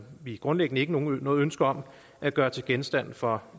vi grundlæggende ikke noget noget ønske om at gøre til genstand for